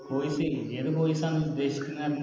Course എയ് ഏത് Course ആണ് ഉദ്ദേശിക്കുന്നത്